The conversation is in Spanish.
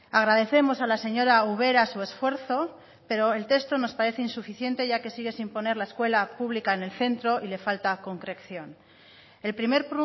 agradecemos a la señora ubera su esfuerzo pero el texto nos parece insuficiente ya que sigue sin poner la escuela pública en el centro y la falta concreción el primer